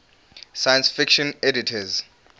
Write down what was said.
science fiction editors